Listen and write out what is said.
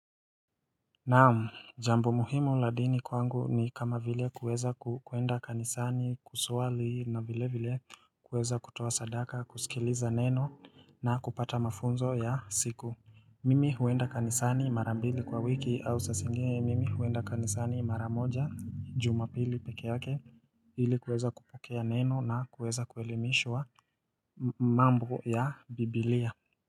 Naam, jambo muhimu la dini kwangu ni kama vile kuweza kuenda kanisani, kusuali na vile vile kuweza kutoa sadaka, kusikiliza neno na kupata mafunzo ya siku. Mimi huenda kanisani marambili kwa wiki au saa zingine mimi huenda kanisani mara moja jumapili peke yake ili kuweza kupokea neno na kuweza kuelimishwa mambo ya biblia.